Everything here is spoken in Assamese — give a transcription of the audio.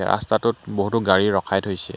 ৰাস্তাটোত বহুতো গাড়ী ৰখাই থৈছে।